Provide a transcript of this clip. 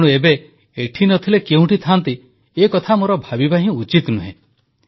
ତେଣୁ ଏବେ ଏଠି ନ ଥିଲେ କେଉଁଠି ଥାଆନ୍ତି ଏକଥା ମୋର ଭାବିବା ହିଁ ଉଚିତ ନୁହେଁ